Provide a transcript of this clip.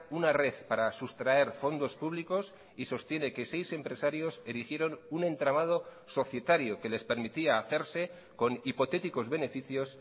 una red para sustraer fondos públicos y sostiene que seis empresarios erigieron un entramado societario que les permitía hacerse con hipotéticos beneficios